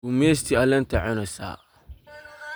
Guumeystii alenyta cuuneysa.